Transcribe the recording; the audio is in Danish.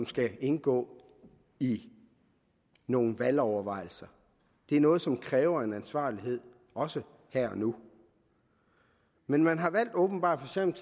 skal indgå i nogle valgovervejelser det er noget som kræver en ansvarlighed også her og nu men man har åbenbart valgt